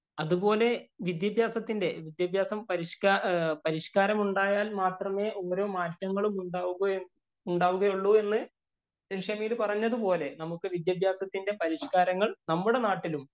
അതുപോലെ വിദ്യാഭ്യാസത്തിന്‍റെ വിദ്യാഭ്യാസം പരിഷ്കാ പരിഷ്കാരം ഉണ്ടായാല്‍ മാത്രമേ ഓരോ മാറ്റങ്ങളും ഉണ്ടാവു എന്ന്, ഉണ്ടാവുകയുള്ളൂ എന്ന് ഷമീര്‍ പറഞ്ഞത് പോലെ നമുക്ക് വിദ്യാഭ്യാസത്തിന്‍റെ പരിഷ്കാരങ്ങള്‍ നമ്മുടെ നാട്ടിലും